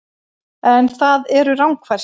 En það eru rangfærslur